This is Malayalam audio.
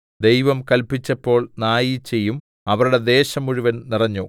ദൈവം കല്പിച്ചപ്പോൾ നായീച്ചയും അവരുടെ ദേശം മുഴുവനും നിറഞ്ഞു